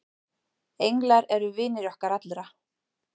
englar eru vinir okkar allra